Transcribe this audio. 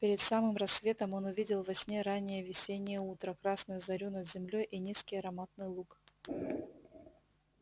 перед самым рассветом он увидел во сне раннее весеннее утро красную зарю над землёй и низкий ароматный луг